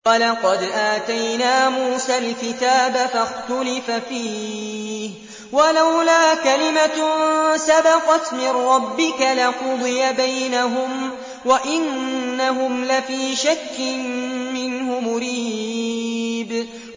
وَلَقَدْ آتَيْنَا مُوسَى الْكِتَابَ فَاخْتُلِفَ فِيهِ ۚ وَلَوْلَا كَلِمَةٌ سَبَقَتْ مِن رَّبِّكَ لَقُضِيَ بَيْنَهُمْ ۚ وَإِنَّهُمْ لَفِي شَكٍّ مِّنْهُ مُرِيبٍ